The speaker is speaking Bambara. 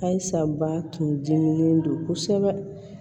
Ayi sa ba tun diminnen don kosɛbɛ